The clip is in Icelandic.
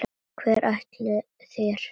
Hvert ætlið þér?